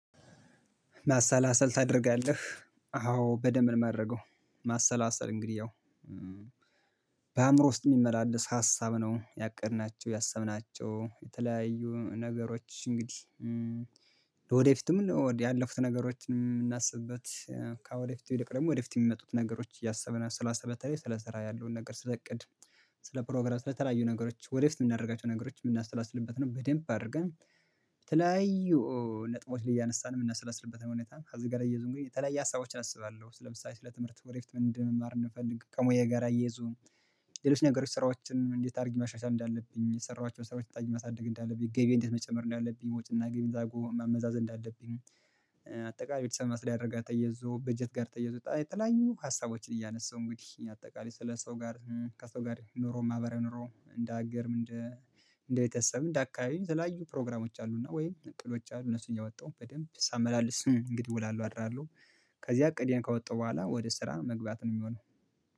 ማሰላሰል ታደርጋለህ አዎ በደንብ ነው የማደርገው። ማሰላሰል እንግዲህ ያው በአእምሮ ውስጥ የሚመላለስ ሀሳብ ነው ያቀድናቸው ያሰብናቸው የተለያዩ ነገሮች እንግዲህ ወደፊትም ያለፉትን ነገሮችን የምናስብበት ከወደፊት ደግሞ ወደፊት የሚመጡት ነገሮች እያሰብን ነው ስላሰበ ስለሰራ ያለውን ነገር ስለእቅድ ስለፕሮግራም ስለተለያዩ ነገሮች ወደፊት የምናደርጋቸው ነገሮች የምናሰላስልበት ነው። በደንብ አድርገን በተለያዩ ነጥቦችን እያነሳን የምነሰላስልበትን ሁኔታን ከዚህ ጋር አያይዞም እንግዲ የተለያየ ሀሳቦችን አስባለሁ። ስለምሳሌ ስለ ትምህርት ወደ ፊት ምን እንደምማር እንደምፈልግ ከሙያዬ ጋር አያይዞ ሌሎች ነገሮች ስራዎችን እንዴት አድርጊ ማሻሻል እንዳለብኝ የሰራኋቸውን ስራዎች እንዴት ማሳደግ እንዳለብኝ ገቢ እንዴት መጨመር ነው። አንዳለብኝ ወጪና እና ገቢ መዛጎ ማመዛዘን እንዳለብኝ አጠቃላይ ቤተሰብ ማስተዳደር ጋር ተያይዞ በጀት ጋር ተየዞ የተለያዩ ሀሳቦችን እያነሳሁ እንግዲህ አጠቃላይ ስለ ሰው ጋር ከሰው ጋር ኑሮ ማህበራዊ ኑሮ እንደ ሀገርም እንደ እንደ ቤተሰብም እንደ አካባቢም የተለያዩ ፕሮግራሞች አሉና ወይ ጥእቅዶች አሉ እነሱን እያወጣው በደንብ ሳመላልስ እንግዲህ እውላለሁ አድራለሁ። ከዚህ እቅድዬን ካወጣሁ በኋላ ወደ ስራ መግባት ነው የሚሆነው